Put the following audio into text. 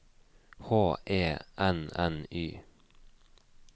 H E N N Y